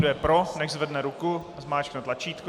Kdo je pro, nechť zvedne ruku a zmáčkne tlačítko.